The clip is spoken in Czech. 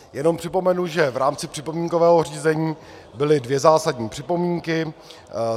Jenom připomenu, že v rámci připomínkového řízení byly dvě zásadní připomínky.